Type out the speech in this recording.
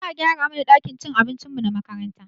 Za a gyara mana ɗakin cin abincinmu na makaranta